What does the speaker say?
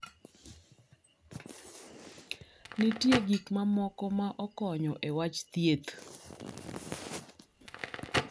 Nitie gik mamoko ma okonyo e wach thieth.